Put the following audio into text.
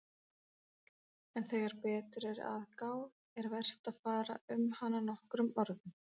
En þegar betur er að gáð er vert að fara um hana nokkrum orðum.